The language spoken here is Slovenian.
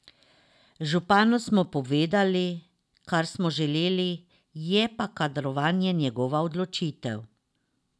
Županu smo povedali, kar smo želeli, je pa kadrovanje njegova odločitev.